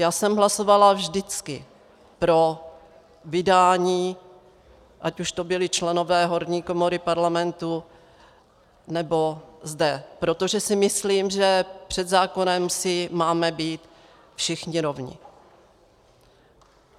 Já jsem hlasovala vždycky pro vydání, ať už to byli členové horní komory Parlamentu, nebo zde, protože si myslím, že před zákonem si máme být všichni rovni.